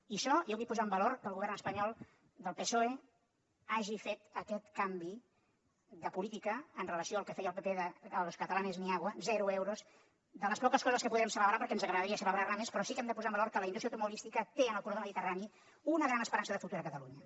i això jo vull posar en valor que el govern espanyol del psoe hagi fet aquest canvi de política amb relació al que feia el pp de a los catalanes ni agua zero euros de les poques coses que podem celebrar perquè ens agradaria celebrar ne més però sí que hem de posar en valor que la indústria automobilística té en el corredor mediterrani una gran esperança de futur a catalunya